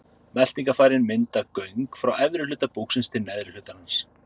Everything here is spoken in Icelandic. Meltingarfærin mynda göng frá efri hluta búksins til neðri hlutar hans.